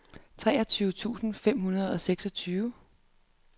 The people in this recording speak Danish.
treogtyve tusind fem hundrede og seksogtyve